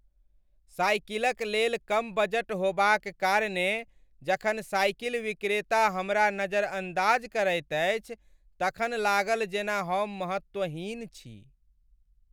साइकिलक लेल कम बजट होबाक कारणेँ जखन साइकिल विक्रेता हमरा नज़रअंदाज़ करैत अछि तखन लागल जेना हम महत्वहीन छी ।